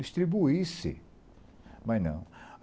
Distribuísse, mas não.